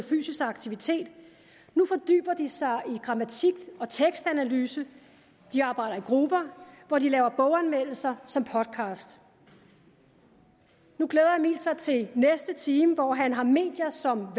fysisk aktivitet nu fordyber de sig i grammatik og tekstanalyse de arbejder i grupper hvor de laver boganmeldelser som podcast nu glæder emil sig til næste time hvor han har medier som